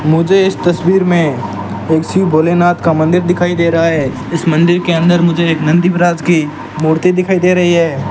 मुझे इस तस्वीर में एक शिव भोलेनाथ का मंदिर दिखाई दे रहा है इस मंदिर के अंदर मुझे एक नंदी महाराज की मूर्ति दिखाई दे रही है।